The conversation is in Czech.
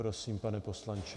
Prosím, pane poslanče.